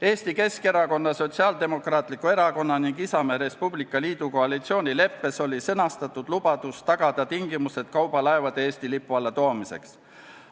Eesti Keskerakonna, Sotsiaaldemokraatliku Erakonna ning Isamaa ja Res Publica Liidu koalitsioonileppes oli sõnastatud lubadus tagada tingimused kaubalaevade Eesti lipu alla toomiseks.